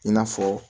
I n'a fɔ